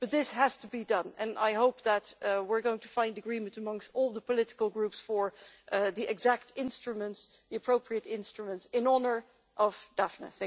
This has to be done, and I hope that we are going to find agreement amongst all the political groups for the exact instruments the appropriate instruments in honour of Daphne.